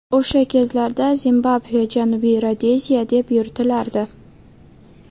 O‘sha kezlarda Zimbabve Janubiy Rodeziya deb yuritilardi.